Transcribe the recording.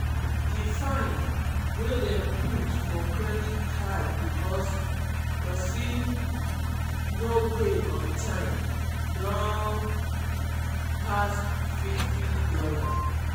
di fine wey dem put for credit card because persin um no pay on time don pass fifty dollars.